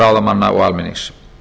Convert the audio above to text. ráðamanna og almennings